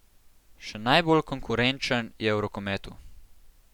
Še najbolj konkurenčen je v rokometu.